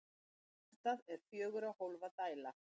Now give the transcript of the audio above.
Hjartað er fjögurra hólfa dæla.